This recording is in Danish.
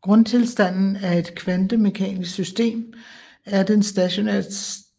Grundtilstanden af et kvantemekanisk system er den stationære